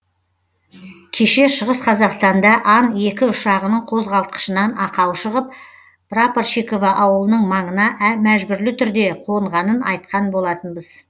кеше шығыс қазақстанда ан екі ұшағының қозғалтқышынан ақау шығып прапорщиково ауылының маңына мәжбүрлі түрде қонғанын айтқан болатынбыз